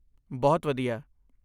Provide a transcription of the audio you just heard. ਬਹੁਤ ਵਧੀਆ!